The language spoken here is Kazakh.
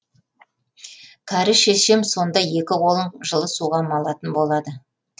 кәрі шешем сонда екі қолын жылы суға малатын болады